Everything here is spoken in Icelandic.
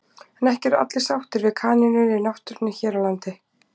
En ekki eru allir sáttir við kanínur í náttúrunni hér á landi.